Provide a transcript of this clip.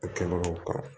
A kɛbagaw ka